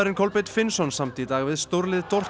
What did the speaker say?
Kolbeinn Finnsson samdi í dag við stórlið